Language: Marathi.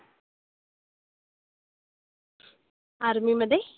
Army मधे?